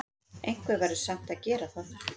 Einhver verður samt að gera það!